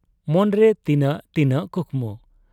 ᱢᱚᱱᱨᱮ ᱛᱤᱱᱟᱹᱜ ᱛᱤᱱᱟᱹᱜ ᱠᱩᱠᱢᱩ ᱾